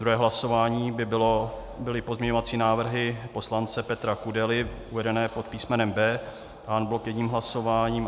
Druhé hlasování by byly pozměňovací návrhy poslance Petra Kudely uvedené pod písmenem B en bloc jedním hlasováním.